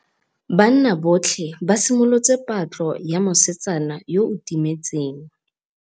Banna botlhê ba simolotse patlô ya mosetsana yo o timetseng.